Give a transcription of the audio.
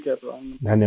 ٹھیک ہے سر! پرنام